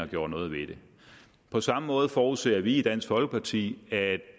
gjorde noget ved det på samme måde forudser vi i dansk folkeparti at